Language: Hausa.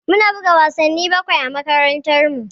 Mu na buga wasanni bakwai a makarantar mu